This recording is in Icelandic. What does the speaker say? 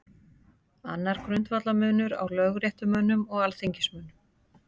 Annar grundvallarmunur er á lögréttumönnum og alþingismönnum.